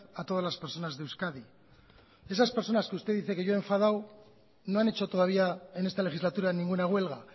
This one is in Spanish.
a todas las personas de euskadi esas personas que usted dice que yo he enfadado no han hecho todavía en esta legislatura ninguna huelga